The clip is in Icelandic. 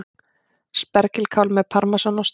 Spergilkál með parmesanosti